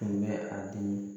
Tun bɛ a di